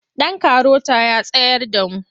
Ɗan karota ya tsayar da mu.